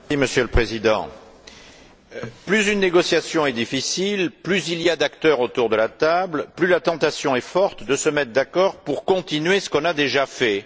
Monsieur le Président, plus une négociation est difficile, plus il y a d'acteurs autour de la table, plus la tentation est forte de se mettre d'accord pour continuer ce qu'on a déjà fait.